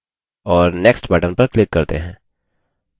और next button पर click करते हैं